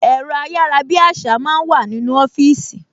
Ẹ̀rọ ayárabíàṣá máa ń wà nínú ọfíìsì